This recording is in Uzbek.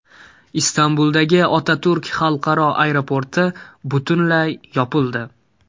Istanbuldagi Otaturk xalqaro aeroporti butunlay yopildi.